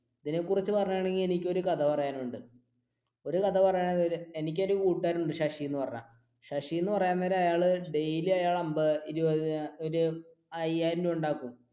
ഇതിനെ കുറിച്ച് പറയുക ആണെങ്കിൽ എനിക്ക് ഒരു കഥ പറയാനുണ്ട് ഒരു കഥ പറ എനിക്ക് ഒരു കൂട്ടുകാരനുണ്ട് ശശി എന്ന് പറഞ്ഞ ശശി എന്ന് പറയാൻ നേരംഅയ്യാൾ daily ഒരു അൻപത് ഇരുപത് ഒരു അയ്യായിരം രൂപ ഉണ്ടാക്കും.